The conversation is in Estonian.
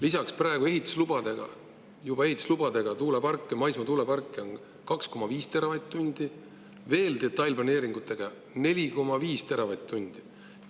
Lisaks on praegu juba ehituslubadega maismaa tuuleparke 2,5 teravatt-tundi ja detailplaneeringutega 4,5 teravatt-tundi.